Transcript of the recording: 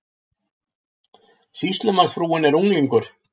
Sýslumannsfrúin er unglingur.